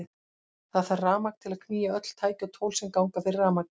Það þarf rafmagn til að knýja öll tæki og tól sem ganga fyrir rafmagni.